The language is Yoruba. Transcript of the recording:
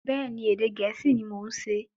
Bẹ́ẹ̀ni, Ẹ̀dẹ̀ Gẹ̀ẹ́sì ni mọ̀ ún ṣe